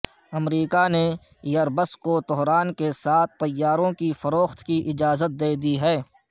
امریکہ نے Airbus کو Tehran کے ہاتھ طیاروں کی فروخت کی اجازت دے دی